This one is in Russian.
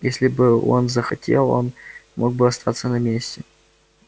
если бы он захотел он мог бы остаться на месте